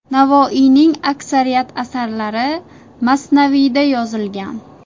Navoiyning aksariyat asarlari masnaviyda yozilgan.